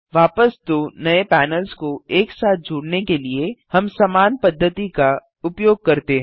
वापस दो नये पैनल्स को एक साथ जोड़ने के लिए हम समान पद्धति का उपयोग करते हैं